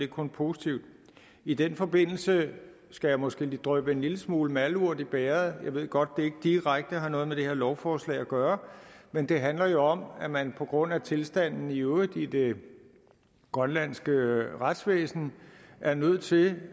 kun positivt i den forbindelse skal jeg måske dryppe en lille smule malurt i bægeret jeg ved godt det ikke direkte har noget med det her lovforslag at gøre men det handler jo om at man på grund af tilstanden i øvrigt i det grønlandske retsvæsen er nødt til